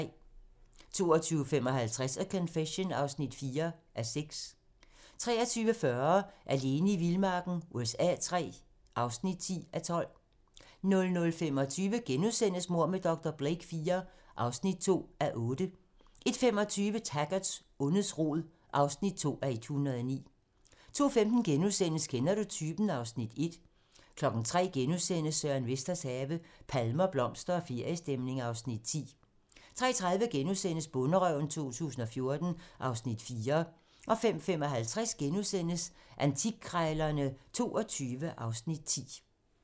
22:55: A Confession (4:6) 23:40: Alene i vildmarken USA III (10:12) 00:25: Mord med dr. Blake IV (2:8)* 01:25: Taggart: Ondets rod (2:109) 02:15: Kender du typen? (Afs. 1)* 03:00: Søren Vesters have - palmer, blomster og feriestemning (Afs. 10)* 03:30: Bonderøven 2014 (Afs. 4)* 05:55: Antikkrejlerne XXII (Afs. 10)*